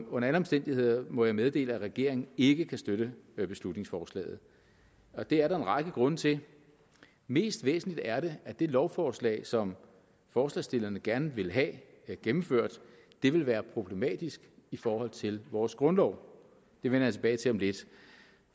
under alle omstændigheder må jeg meddele at regeringen ikke kan støtte beslutningsforslaget og det er der en række grunde til mest væsentligt er det at det lovforslag som forslagsstillerne gerne vil have gennemført vil være problematisk i forhold til vores grundlov det vender jeg tilbage til om lidt